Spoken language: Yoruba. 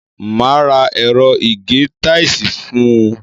Máa ra ẹ̀rọ ìgé táìsì fún un.